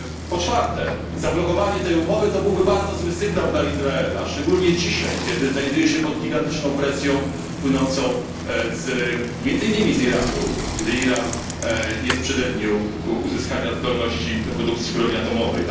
Po czwarte, zablokowanie tej umowy byłoby bardzo złym sygnałem dla Izraela, szczególnie dzisiaj, kiedy znajduje się on pod gigantyczną presją płynącą między innymi z Iranu, gdy Iran jest w przededniu uzyskania zdolności do produkcji broni atomowej.